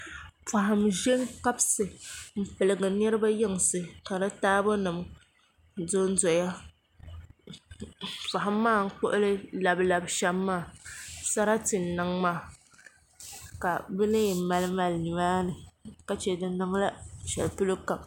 Poham n ʒɛ n kabisi n piligi niraba yinsi ka di taabo nim dondoya poham maa n kpuɣili labi labi shɛm maa sarati n niŋ maa ka bi na yɛn mali mali nimaani ka chɛ di niŋla shɛli polo kam